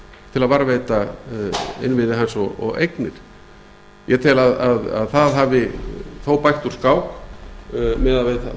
til að varðveita innviði hans og eignir ég tel að það hafi þó bætt úr skák miðað við það